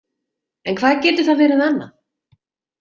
En hvað getur það verið annað?